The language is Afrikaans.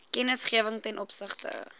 kennisgewing ten opsigte